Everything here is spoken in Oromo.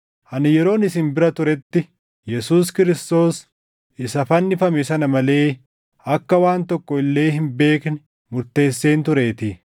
Ani yeroon isin bira turetti Yesuus Kiristoos isa fannifame sana malee akka waan tokko illee hin beekne murteesseen tureetii.